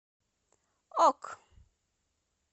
ок